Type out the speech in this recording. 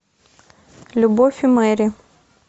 любовь и мэри